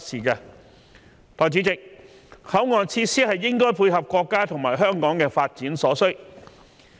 代理主席，口岸設施應該配合國家與香港的發展所需。